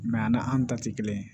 an ta tɛ kelen ye